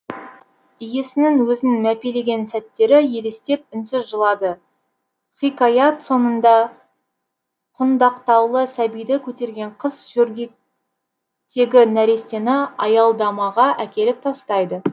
иесінің өзін мәпелеген сәттері елестеп үнсіз жылады хикаят соңында құндақтаулы сәбиді көтерген қыз жөргектегі нәрестені аялдамаға әкеліп тастайды